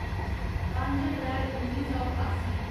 पंज अप्रैल उन्नी सौ ठासी